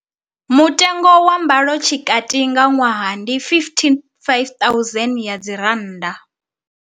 Mutengo wa mbalotshikati nga ṅwaha ndi R55 000.